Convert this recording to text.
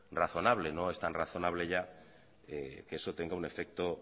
razonable es tan razonable ya que eso tenga un efecto